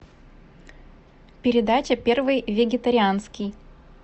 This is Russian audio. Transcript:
передача первый вегетарианский